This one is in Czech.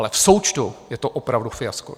Ale v součtu je to opravdu fiasko.